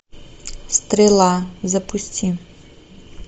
стрела запусти